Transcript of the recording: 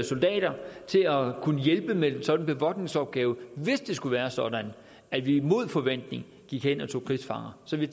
soldater til at kunne hjælpe med en sådan bevogtningsopgave hvis det skulle være sådan at vi mod forventning gik hen og tog krigsfanger så vi